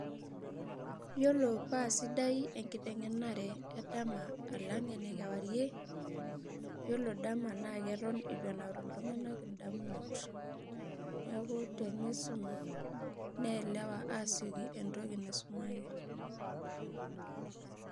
Iyiolo pasidai enkitengenare edama alang enekawarie yiolo dama natan ituenaure ltunganak ndamunot neaku tenisum ni elewa asieki entoki naisumaki.